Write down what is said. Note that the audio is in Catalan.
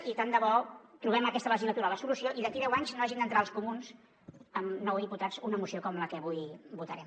i tant de bo trobem aquesta legislatura la solució i d’aquí deu anys no hagin d’entrar els comuns amb nou diputats una moció com la que avui vo·tarem